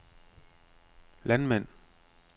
landmænd